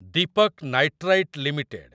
Deepak nitrite limited